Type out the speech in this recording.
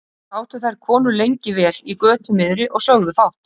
Sátu þær konur lengi vel í götu miðri og sögðu fátt.